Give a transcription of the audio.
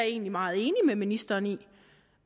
egentlig meget enig med ministeren i